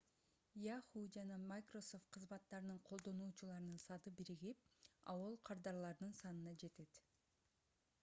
yahoo жана microsoft кызматтарынын колдонуучуларынын саны биригип aol кардарларынын санына жетет